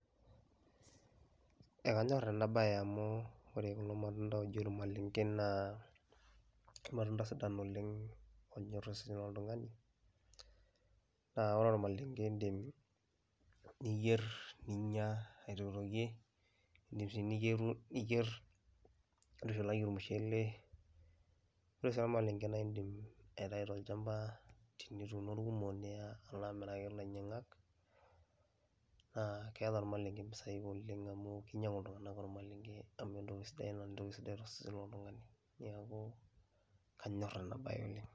Eeh kanyorr ena baye amu ore kulo matunda ooji ormaleng'e naa kermatunda sidan oleng' oonyor osesen loltung'ani naa ore ormalenge iindim niyer, ninya aitokitokie um niyeru niyer nintushulaki ormushele. Ore sii ormaleng'e naa iindim aitayu tolchamba tenituuno irkumok niya alo amiraki ilainyang'ak naa keeta ormaleng'e mpisai oleng' amu kinyang'u iltung'anak ormaleng'e amu entoki sidai naa entoki sidai to sesen loltung'ani. Neeku kanyor ena baye oleng'.